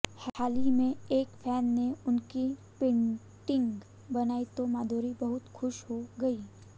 हाल ही में एक फैन ने उनकी पेंटिंग बनाई तो माधुरी बहुत खुश हो गईं